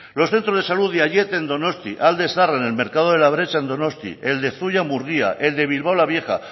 los centros de salud de aiete en donostia alde zaharra en el mercado de la bretxa en donostia el de zuia murgia el de bilbao la vieja